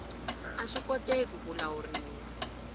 a swi koteki ku lawuriwa